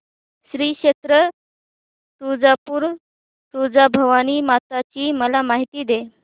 श्री क्षेत्र तुळजापूर तुळजाभवानी माता ची मला माहिती दे